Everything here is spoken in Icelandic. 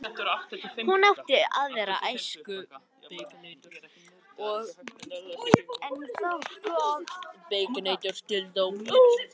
Hún átti aðra æsku en ég og það er gott.